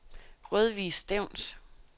Rødvig Stevns